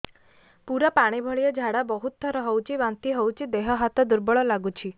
ପୁରା ପାଣି ଭଳିଆ ଝାଡା ବହୁତ ଥର ହଉଛି ବାନ୍ତି ହଉଚି ଦେହ ହାତ ଦୁର୍ବଳ ଲାଗୁଚି